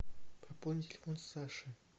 пополни телефон саши